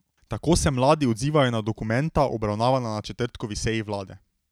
Tako se mladi odzivajo na dokumenta, obravnavana na četrtkovi seji vlade.